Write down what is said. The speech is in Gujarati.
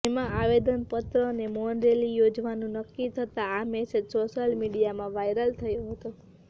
જેમાં આવેદનપત્ર અને મૌન રેલી યોજવાનું નકકી થતા આ મેસેજ સોશ્યલ મીડિયામાં વાયરલ થયો હતો